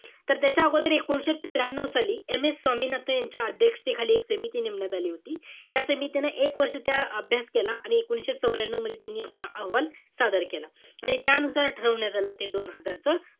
तर त्याच्या अगोदर एकोणीशे त्र्यानव साली, MS स्वामिनाथन यांच्या अध्यक्षतेखाली एक समिती नेमण्यात आली होती. या समितीनं एक वर्ष त्या अभ्यास केला. आणि एकोणीशे चवऱ्यानव मध्ये त्यांनी आपला अहवाल सादर केला. म्हणजे त्यानुसार ठरवण्यात आलं ते दोन हजारचा.